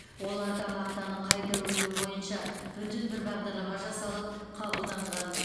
оларда мақтаны қайта өңдеу бойынша бүтін бір бағдарлама жасалып қабылданған